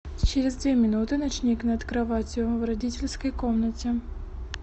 через две минуты ночник над кроватью в родительской комнате